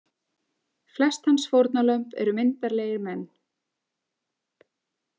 Flest hans fórnarlömb eru myndarlegir menn.